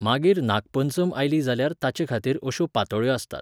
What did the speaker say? मागीर नागपंचम आयली जाल्यार ताचेखातीर अश्यो पातोळ्यो आसतात.